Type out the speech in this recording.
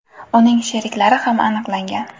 Uning sheriklari ham aniqlangan.